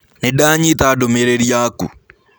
Nĩndanyĩta ndũmĩrĩrĩ yakũ.